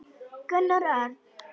Gunnar Örn.